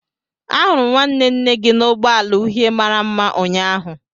ahuru m nwanne nne gi n'ụgbọ ala uhie mara mma ụnyaahụ